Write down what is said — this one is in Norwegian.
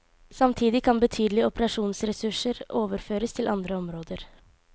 Samtidig kan betydelige operasjonsressurser overføres til andre områder.